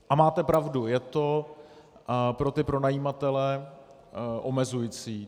A máte pravdu, je to pro ty pronajímatele omezující.